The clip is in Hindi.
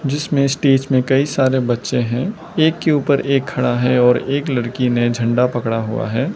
जिसमें स्टेज में कई सारे बच्चे हैं एक के ऊपर एक खड़ा है और एक लड़की ने झंडा पकड़ा हुआ है।